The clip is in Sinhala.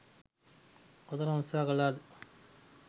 කොතරම් උත්සහ කලාද?